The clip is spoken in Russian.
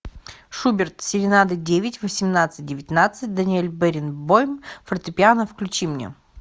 шуберт серенада девять восемнадцать девятнадцать даниэль баренбойм фортепиано включи мне